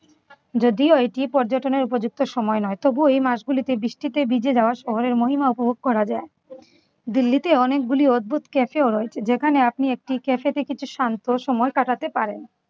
যদিও এটি পর্যটনে উপযুক্ত সময় নয় তবুও এই মাসগুলিতে বৃষ্টিতে ভিজে যাওয়া শহরের মহিমা উপভোগ করা যায়। দিল্লিতে অনেকগুলি অদ্ভুত cafe ও রয়েছে যেখানে আপনি একটি cafe তে কিছু শান্ত সময় কাটাতে পারেন।